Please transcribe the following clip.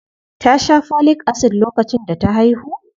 Ta sha Folic Acid lokacin da ta haihu?